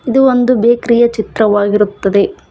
ಇದು ಒಂದು ಬೇಕರಿ ಯ ಚಿತ್ರವಾಗಿರುತ್ತದೆ.